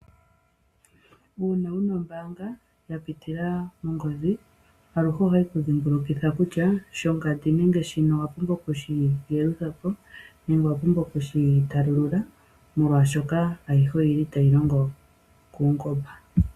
Uuna wuna ombaanga ya pitila mongodhi, aluhe ohayi ku dhimbulukitha kutya shingandi nenge shotumba owa pumbwa oku endithwa po nenge okushitalulula molwaashoka aluhe oyi li tayi longo paungomba.